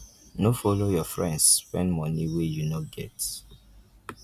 no follow your friends spend money wey you no get